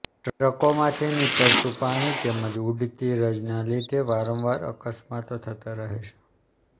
ટ્રકોમાંથી નિતરતું પાણી તેમજ ઉડતી રજના લીધે વારંવાર અકસ્માતો થતા રહે છે